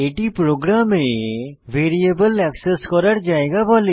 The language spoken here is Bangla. এটি প্রোগ্রামে ভ্যারিয়েবল এক্সেস করার জায়গা বলে